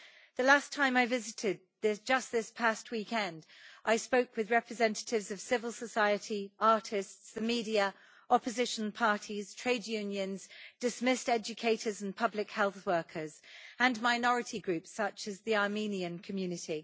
The last time I visited, just this past weekend, I spoke with representatives of civil society, artists, the media, opposition parties, trade unions, dismissed educators and public health workers, and minority groups, such as the Armenian community.